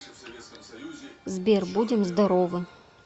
сбер будем здоровы